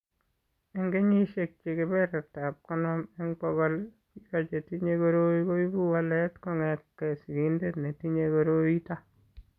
Eng' kesishek che kebertab konom eng' bokol, biko che tinye koroi koipu walet kong'etke sigindet netinye koroi ito.